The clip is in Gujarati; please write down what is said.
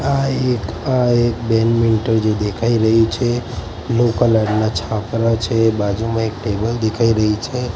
આ એક આ એક બેડમિન્ટન જે દેખાય રહી છે બ્લુ કલર ના છાપરા છે બાજુમાં એક ટેબલ દેખાય રહી છે.